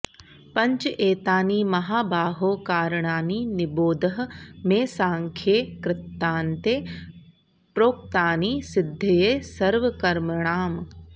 पञ्च एतानि महाबाहो कारणानि निबोध मे साङ्ख्ये कृतान्ते प्रोक्तानि सिद्धये सर्वकर्मणाम्